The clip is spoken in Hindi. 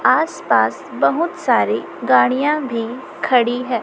आस पास बहुत सारी गाड़ियां भी खड़ी हैं।